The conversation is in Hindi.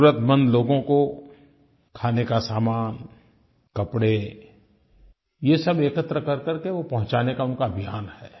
ज़रुरतमंद लोगों को खाने का सामान कपड़े ये सब एकत्र करकर के वो पहुँचाने का उनका अभियान है